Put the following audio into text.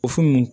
O fu me